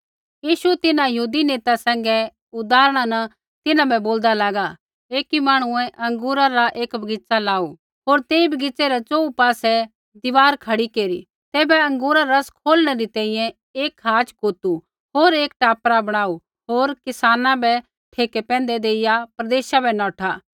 यीशु तिन्हां यहूदी नेता सैंघै उदाहरणा न तिन्हां बै बोलदा लागा एकी मांहणुऐ अँगूरा रा एक बगीच़ा लाऊ होर तेई बगीच़ै रै च़ोहू पासै दीवार खड़ी केरी तैबै अँगूरा रा रस खोलणै री तैंईंयैं एक खाच़ कोतू होर एक टापरा बणाऊ होर किसाना बै ठेके पैंधै देइया प्रदेशा बै नौठा